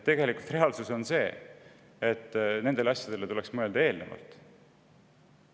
Reaalsus on see, et nendele asjadele tuleks mõelda eelnevalt.